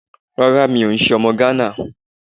Rárá mi ò n se ọmọ Gánà